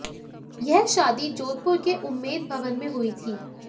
यह शादी जोधपुर के उम्मेद भवन में हुई थी